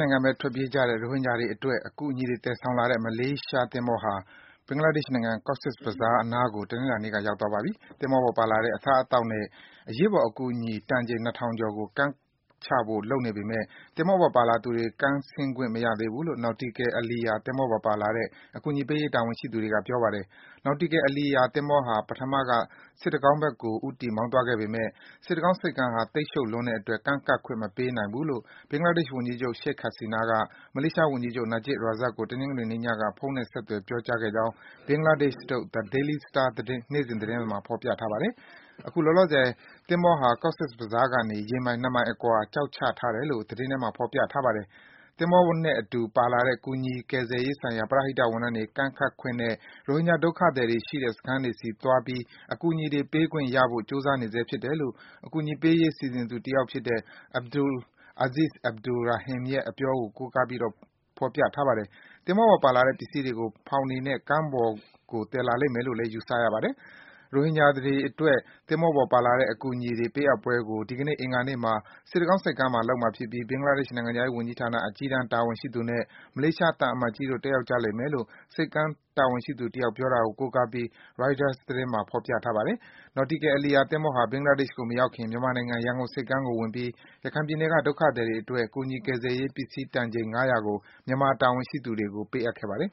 နိုင်ငံဘက်ထွက်ပြေးကြတဲ့ ရိုဟင်ဂျာတွေအတွက် အကူအညီတွေသယ်ဆောင်လာတဲ့ မလေးရှားသင်္ဘောဟာ ဘင်္ဂလားဒေရှ့်နိုင်ငံ Cox's Bazar နားကို တနင်္လာနေ့က ရောက်သွားပါပြီ။ သင်္ဘောပေါ်ပါလာတဲ့ အစားအသောက်နဲ့ အရေးပေါ်အကူအညီ တန်ချိန် ၂ ထောင်ကျော်ကို ကမ်းချဖို့ လုပ်နေပေမယ့် သင်္ဘောပေါ်ပါလာသူတွေ ကမ်းဆင်းခွင့် မရသေးဘူးလို့ Nautical Aliya သင်္ဘောနဲ့ပါလာတဲ့ အကူအညီပေးရေးတာဝန်ရှိသူတွေက ပြောပါတယ်။ Nautical Aliya သင်္ဘောဟာ ပထမက စစ်တကောင်းဘက်ကို ဦးတည်မောင်းသွားခဲ့ပေမယ့် စစ်တကောင်းဆိပ်ကမ်းဟာ သိပ်ရှုပ်လွန်းတဲ့အတွက် ကမ်းကပ်ခွင့်မပေးနိုင်ဘူးလို့ Bangladesh ဝန်ကြီးချုပ် Sheikh Hasina က မလေးရှားဝန်ကြီးချုပ် Najib Razak ကို တနင်္ဂနွေနေ့ညက ဖုန်းနဲ့ဆက်သွယ်ပြောခဲ့ကြောင်း Bangladesh ထုတ် The Daily Star နေ့စဉ်သတင်းစာမှာဖော်ပြထားပါတယ်။ အခုလောလောဆယ် သင်္ဘောဟာ Cox's Bazar ကနေ ရေမိုင် ၂ မိုင် အကွာမှာ ကျောက်ချထားတယ်လို့ သတင်းထဲမှာ ဖော်ပြထားပါတယ်။ သင်္ဘောပေါ်နဲ့အတူ ပါလာတဲ့ ကူညီကယ်ဆယ်ရေးဆိုင်ရာ ပရဟိတဝန်ထမ်းတွေ ကမ်းဆင်းခွင့်နဲ့ ရိုဟင်ဂျာ ဒုက္ခသည်တွေရှိတဲ့ စခန်းတွေဆီသွားပြီး အကူအညီတွေ ဝေပေးနိုင်ခွင့်ရဖို့ ကြိုးစားနေဆဲဖြစ်တယ်လို့ အကူအညီပေးရေး စီစဉ်သူတယောက်ဖြစ်တဲ့ Abdul Azeez Abdul Rahim ရဲ့အပြောကို ကိုးကားဖော်ပြထားတာပါ။ သင်္ဘောပေါ်ကပစ္စည်းတွေကို ဖောင်တွေသုံးပြီး ကမ်းကို သယ်ဆောင်သွားမယ်လို့ ခန့်မှန်းရပါတယ်။ ရိုဟင်ဂျာတွေအတွက် သင်္ဘောပေါ်ပါလာတဲ့ အကူအညီပေးအပ်ပွဲကို ဒီကနေ့ အင်္ဂါနေ့မှာ စစ်တကောင်းဆိပ်ကမ်းမှာ လုပ်မှာဖြစ်ပြီး Bangladesh နိုင်ငံခြားရေးဌာန အကြီးတန်းတာဝန်ရှိသူနဲ့ မလေးရှားသံအမတ်ကြီးတို့ တက်ရောက်ကြလိမ့်မယ်လို့ ဆိပ်ကမ်းတာဝန်ရှိသူတယောက်အပြောကို ကိုကားပြီး Reuters သတင်းမှာ ဖော်ပြထားပါတယ်။ Nautical Aliya သင်္ဘောဟာ Bangladesh ကိုမရောက်ခင် မြန်မာနိုင်ငံရန်ကုန်ဆိပ်ကမ်းကို ဝင်ပြီး ရခိုင်ပြည်နယ်က ဒုက္ခသည်တွေအတွက် ကူညီကယ်ဆယ်ရေးပစ္စည်း တန်ချိန် ၅၀၀ ကို မြန်မာတာဝန်ရှိသူတွေကို ပေးအပ်ခဲ့ပါတယ်။